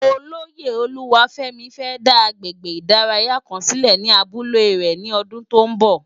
Ólóyé Oluwafemi fè dá àgbégbé idàráyá kán silé ni àbúlé è ni òdún tó n bò